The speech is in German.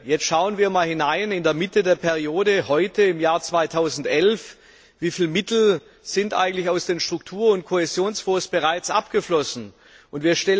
Jetzt schauen wir einmal hinein in der Mitte der Periode, heute, im Jahr 2011 wie viel Mittel eigentlich aus den Struktur und Kohäsionsfonds bereits abgeflossen sind.